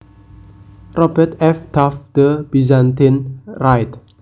Robert F Taft The Byzantine Rite